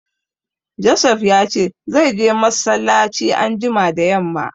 Josef ya ce zai je massalaci anjima da yamma